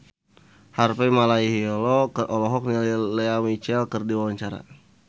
Harvey Malaiholo olohok ningali Lea Michele keur diwawancara